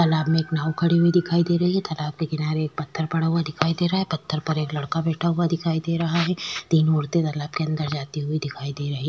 तालाब में एक नाव खड़ी हुई दिखाई दे रही है। तालाब के किनारे एक पत्थर पड़ा हुआ दिखाई दे रहा है। पत्थर पर एक लड़का बैठा हुआ दिखाई दे रहा है। तीन मूर्ति तालाब के अन्दर जाती हुई दिखाई दे रही --